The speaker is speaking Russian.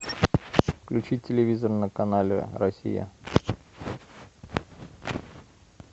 включить телевизор на канале россия